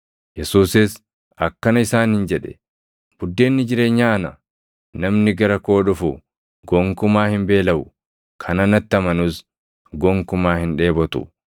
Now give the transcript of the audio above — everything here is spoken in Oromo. Yesuusis akkana isaaniin jedhe; “Buddeenni jireenyaa ana. Namni gara koo dhufu gonkumaa hin beelaʼu; kan anatti amanus gonkumaa hin dheebotu.